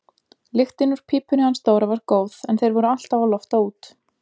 Lyktin úr pípunni hans Dóra var góð en þeir voru alltaf að lofta út.